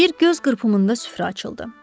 Bir göz qırpımında süfrə açıldı.